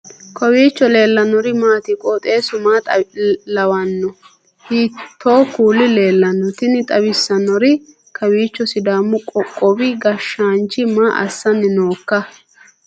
kowiicho leellannori maati ? qooxeessu maa lawaanno ? hiitoo kuuli leellanno ? tini xawissannori kowiicho sidaamu qoqowi gasshaanchi maa assanni nooikka